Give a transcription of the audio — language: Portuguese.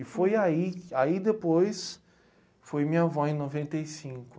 E foi aí, aí depois, foi minha vó em noventa e cinco.